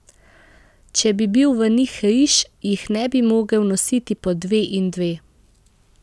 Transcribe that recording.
Če bi bil v njih riž, jih ne bi mogel nositi po dve in dve.